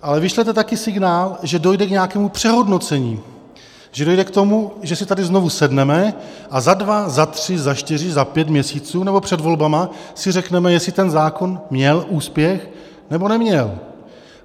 Ale vyšlete také signál, že dojde k nějakému přehodnocení, že dojde k tomu, že si tady znovu sedneme a za dva, za tři, za čtyři, za pět měsíců nebo před volbami si řekneme, jestli ten zákon měl úspěch, nebo neměl.